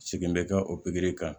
Segin bɛ kɛ o pikiri kan